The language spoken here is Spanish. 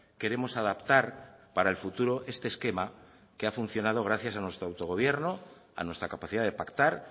queremos adaptar para el futuro este esquema que ha funcionado gracias a nuestro auto gobierno a nuestra capacidad de pactar